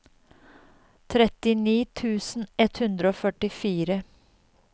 trettini tusen ett hundre og førtifire